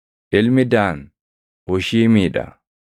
Ilmi Daan: Hushiimii dha.